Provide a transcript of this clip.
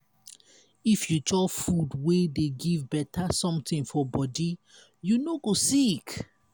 if you chop food wey dey give beta something for body you no go sick.